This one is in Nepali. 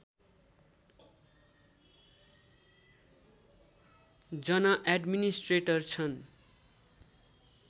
जना एड्मिनिस्ट्रेटर छन्